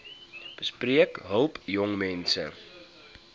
besp help jongmense